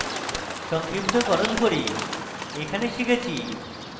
সংক্ষিপ্তকরণ করি এই tutorial শিখেছি: